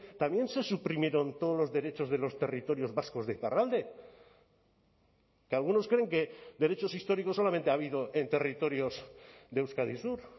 también se suprimieron todos los derechos de los territorios vascos de iparralde que algunos creen que derechos históricos solamente ha habido en territorios de euskadi sur